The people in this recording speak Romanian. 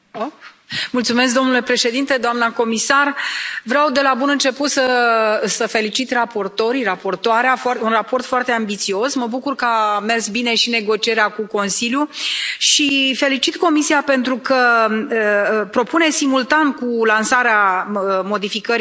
Domnule președinte, doamnă comisar, vreau de la bun început să felicit raportorii, raportoarea, este un raport foarte ambițios, mă bucur că a mers bine și negocierea cu Consiliul, și felicit Comisia pentru că propune simultan cu lansarea modificării directivei